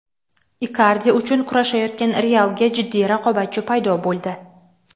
Ikardi uchun kurashayotgan "Real"ga jiddiy raqobatchi paydo bo‘ldi.